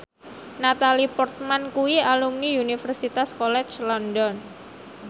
Natalie Portman kuwi alumni Universitas College London